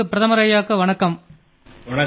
பெருமதிப்பிற்குரிய பிரதமர் அவர்களே வணக்கம்